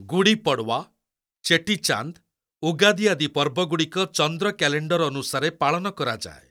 ଗୁଡ଼ି ପଡ଼ୱା, ଚେଟିଚାନ୍ଦ୍, ଉଗାଦି ଆଦି ପର୍ବଗୁଡ଼ିକ ଚନ୍ଦ୍ର କ୍ୟାଲେଣ୍ଡର ଅନୁସାରେ ପାଳନ କରାଯାଏ।